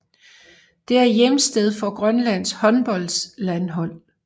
Det er hjemsted for Grønlands håndboldlandshold